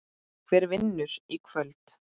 Hver vinnur í kvöld?